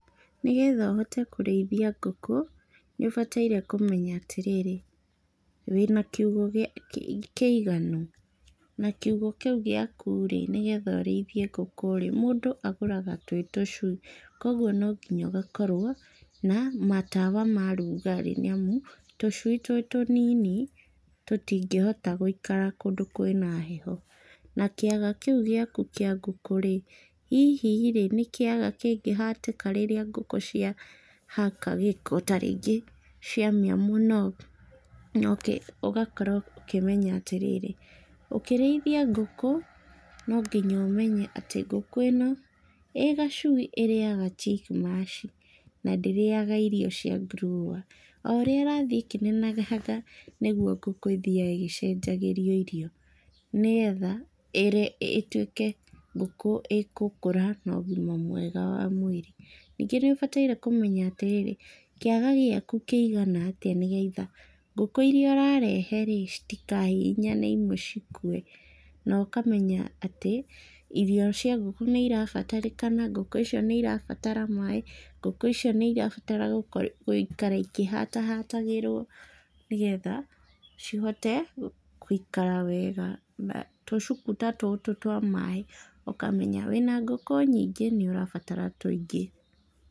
Nĩgetha ũhote kũrĩithia ngũkũ, nĩũbataire kũmenya atĩrĩrĩ, wĩna kiugũ kĩa kĩiganu, na kiugũ kĩu gĩaku rĩ, nĩgetha ũrĩithie ngũkũ rĩ, mũndũ agũraga twĩ tũcui, koguo nonginya ũgakorwo na matawa ma rugarĩ nĩamu, tũcui twĩ tũnini, tũtingíhota gũikara kũndũ kwĩna heho, na kĩaga kĩu gĩaku kĩa ngũkũ rĩ, hihi rĩ, nĩ kĩaga kĩngĩhatĩka rĩrĩa ngũkũ ciahaka gĩko tarĩngĩ ciamĩa mũno, nokĩ, ũgakorwo ũkĩmenya atĩrĩrĩ, ũkĩrĩithia ngũkũ, nonginya ũmenye atĩ ngũkũ ĩno, ĩ gacui ĩrĩaga chick mash na ndĩrĩaga irio cia grower o ũrĩa ĩrathiĩ ĩkĩnenehaga, noguo ngũkũ ĩthiaga ĩgĩcenjagĩrio irio, nĩgetha, írĩ ĩtwĩke ngũkũ ĩkũkũra nogima mwega wa mwĩrĩ, ningĩ níũbataire kũmenya atĩrĩrĩ, kĩaga gĩaku kĩigana tĩa nĩgetha, ngũkũ iria ũrarehe rĩ, citikahihinyane imwe cikue, nokamenya atĩ, irio cia ngũkũ nĩirabatarĩkana, ngũkũ icio nĩirabatara maĩ, ngũkũ icio nĩra gũikara ikĩhatahatagĩrwo, nĩgetha cihote, gũikara wega, na tũcuku ta tũtũ twa maĩ, ũkamenya wĩna ngũkũ nyingĩ cia maĩ, nĩũrabatara tũingĩ.